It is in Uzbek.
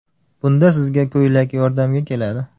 Bunda sizga ko‘ylak yordamga keladi.